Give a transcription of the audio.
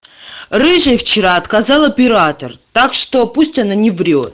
рыжей вчера отказал оператор так что пусть она не врёт